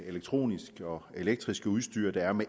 elektroniske og elektriske udstyr der er med